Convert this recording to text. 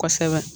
Kosɛbɛ